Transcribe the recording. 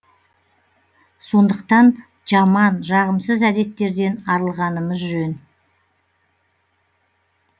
сондықтан жаман жағымсыз әдеттерден арылғанымыз жөн